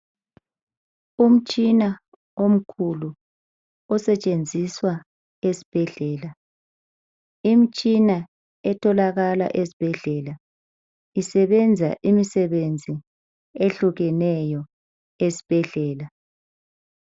Umtshina omkhulu osetshenziswa esibhedlela. Imitshina etholakala esibhedlela isebenza imisebenzi etshiyeneyo.